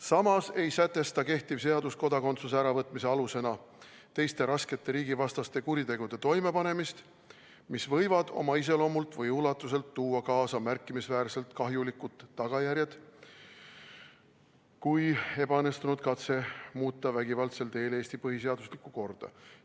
Samas ei sätesta kehtiv seadus kodakondsuse äravõtmise alusena teiste raskete riigivastaste kuritegude toimepanemist, mis võivad oma iseloomult või ulatuselt tuua kaasa märkimisväärselt kahjulikumad tagajärjed kui ebaõnnestunud katse muuta vägivaldsel teel Eesti põhiseaduslikku korda.